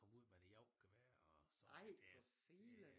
Kom ud med det jagtgevær og sådan det det